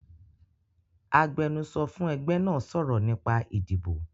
Agbẹ́nusọ́ fún ẹgbẹ́ náà sọ̀rọ̀ nípa ìdìbò